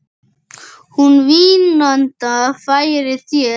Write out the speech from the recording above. Hún vínanda færir þér.